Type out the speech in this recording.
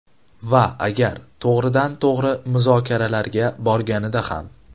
Va agar to‘g‘ridan to‘g‘ri muzokaralarga borganida ham.